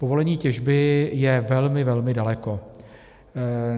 Povolení těžby je velmi, velmi daleko.